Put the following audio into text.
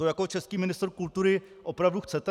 To jako český ministr kultury opravdu chcete?